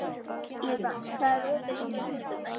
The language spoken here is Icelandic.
Ívan, hvað er opið lengi á föstudaginn?